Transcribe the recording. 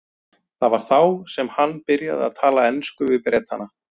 Það var þá sem hann byrjaði að tala ensku við Bretana.